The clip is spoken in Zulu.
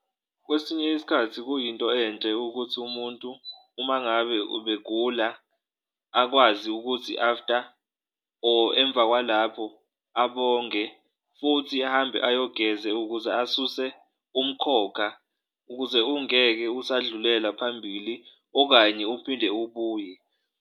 Kwesinye isikhathi kuyinto enhle ukuthi umuntu uma ngabe ubegula akwazi ukuthi after or emva kwalapho abonge futhi ahambe ayogeze ukuze asuse umkhokha, ukuze ungeke usadlulela phambili okanye uphinde ubuye.